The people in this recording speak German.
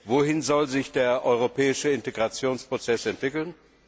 Wohin soll sich der europäische Integrationsprozess entwickeln?